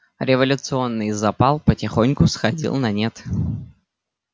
революционный запал потихоньку сходил на нет